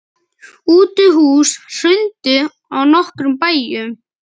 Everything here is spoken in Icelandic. Útihús hrundu á nokkrum bæjum.